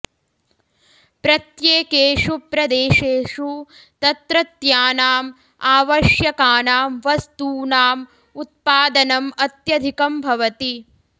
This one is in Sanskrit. प्रत्येकेषु प्रदेशेषु तत्रत्यानाम् आवश्यकानां वस्तूनाम् उत्पादनम् अत्यधिकं भवति